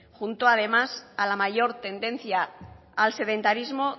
junto además a la mayor tendencia al sedentarismo